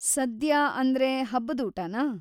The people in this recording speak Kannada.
ಸದ್ಯಾ ಅಂದ್ರೆ ಹಬ್ಬದೂಟನಾ?